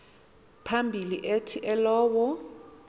phambili athi elowo